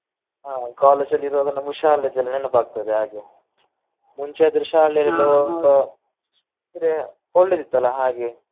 ಹಾ college ಅಲ್ಲಿ ಇರುವಾಗ ನಮ್ಗೆ ಶಾಲೆದೆಲ್ಲ ನೆನಪ ಆಗ್ತದೆ ಹಾಗೆ. ಮುಂಚೆ ಆದ್ರೆ ಶಾಲೆ ಎಲ್ಲ ಅಂದ್ರೆ ಒಳ್ಳೆದಿತ್ತ್ ಅಲ್ಲ ಹಾಗೆ.